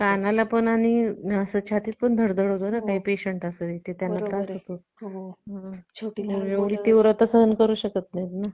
picture लावला असता तोच पुर्ण घराला बघावं लागला असता तर हम्म मला अस वाटत कि आता तस अह नाही आता नाही का पोर सगळे जणच घरामध्ये अह पाच सहा जण जरी असले